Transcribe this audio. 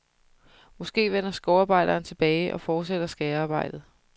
Måske vender skovarbejderen tilbage og fortsætter skærearbejdet.